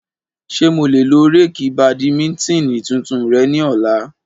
Ṣe mo le lo raketi badimitini tuntun rẹ ni ọla?